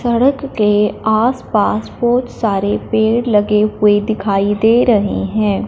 सड़क के आस पास बहोत सारे पेड़ लगे हुए दिखाई दे रहे हैं।